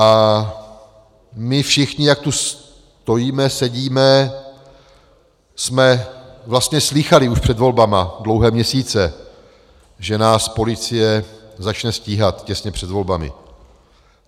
A my všichni, jak tu stojíme, sedíme, jsme vlastně slýchali už před volbami dlouhé měsíce, že nás policie začne stíhat těsně před volbami.